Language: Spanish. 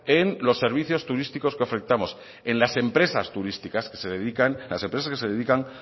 en los servicios turísticos que ofertamos en las empresas que se dedican